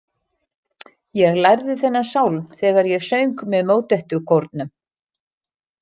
Ég lærði þennan sálm þegar ég söng með Mótettukórnum.